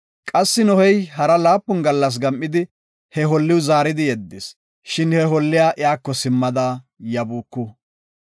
Qassi Nohey hara laapun gallas gam7idi, he holliw zaaridi yeddis. Shin he holliya iyako simmada yabuuku.